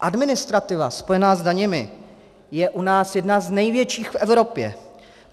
Administrativa spojená s daněmi je u nás jedna z největších v Evropě.